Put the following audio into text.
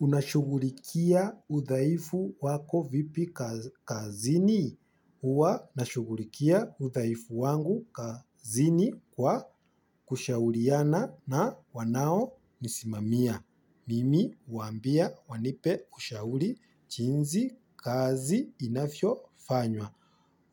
Unashughulikia udhaifu wako vipi kazini. Huwa nashughulikia udhaifu wangu kazini kwa kushauriana na wanaonisimamia. Mimi huambia wanipe ushauri chinzi kazi inafyo fanywa.